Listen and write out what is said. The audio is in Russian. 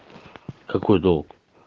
какой долг